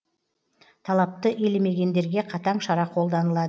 талапты елемегендерге қатаң шара қолданылады